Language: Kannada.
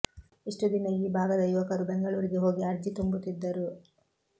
ಇಷ್ಟು ದಿನ ಈ ಭಾಗದ ಯುವಕರು ಬೆಂಗಳೂರಿಗೆ ಹೋಗಿ ಅರ್ಜಿ ತುಂಬುತ್ತಿದ್ದರು